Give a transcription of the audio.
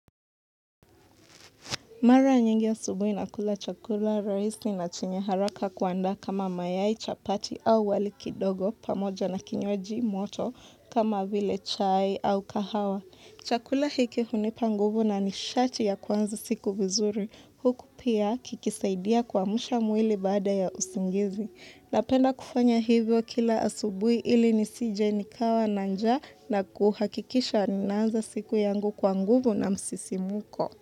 Mara nyingi asubuhi nakula chakula rahisi na chenye haraka kuandaa kama mayai, chapati au wali kidogo pamoja na kinywaji moto kama vile chai au kahawa. Chakula hiki hunipa nguvu na nishati ya kuanza siku vizuri. Huku pia kikisaidia kuamsha mwili baada ya usingizi. Napenda kufanya hivyo kila asubui ili nisije nikawa na njaa na kuhakikisha ninaanza siku yangu kwa nguvu na msisimuko.